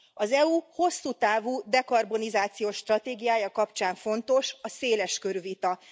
Az EU hosszú távú dekarbonizációs stratégiája kapcsán fontos a széles körű vita.